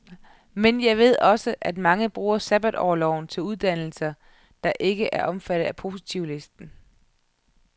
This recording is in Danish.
Men jeg ved også, at mange bruger sabbatorloven til uddannelser, der ikke er omfattet af positivlisten.